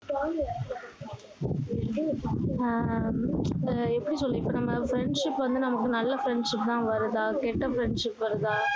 ஆஹ் எப்படி சொல்ல இப்ப நம்ம friendship வந்து நமக்கு நல்ல friendship தான் வருதா கெட்ட friendship வருதா